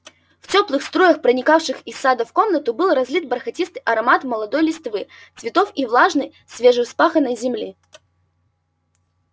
в тёплых струях проникавших из сада в комнату был разлит бархатистый аромат молодой листвы цветов и влажной свежевспаханной земли